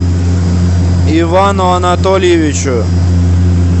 ивану анатольевичу